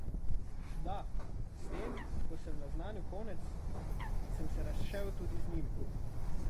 Da, s tem, ko sem naznanil konec, sem se razšel tudi z njim.